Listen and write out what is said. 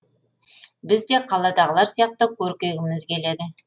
біз де қаладағылар сияқты көркейгіміз келеді